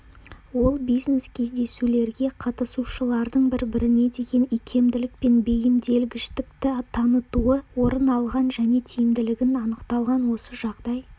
ол бизнес-кездесулерге қатысушылардың бір-біріне деген икемділік пен бейімделгіштікті танытуы орын алғаны және тиімділігін анықтаған осы жағдай